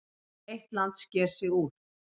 Eitt land sker sig úr.